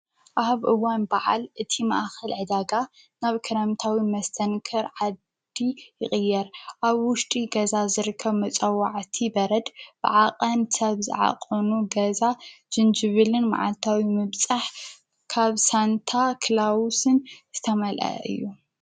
ኣብ እዋን በዓል እቲ መኣኸል ዕዳጋ ናብ ከረምታዊ መስተንከር ዓዲ ይቕየር ኣብ ውሽጢ ገዛ ዘርከብ መጸዋዐቲ በረድ ብዓቐን ሰብዝዓቆኑ ገዛ ጅንጅብልን መዓልታዊ ምምጽሕ ካብ ሳንታ ክላዉስን ዝተመልአ እዩ።